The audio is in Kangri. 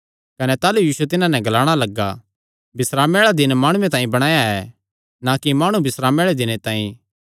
कने ताह़लू यीशु तिन्हां नैं ग्लाणा लग्गा बिस्रामे आल़ा दिन माणु तांई बणाया ऐ ना कि माणु बिस्रामे आल़े दिने तांई